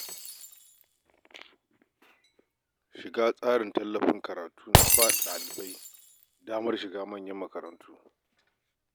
Shiga tsarin tallafin karatu na ba dalibai damar shiga manyan makarantu.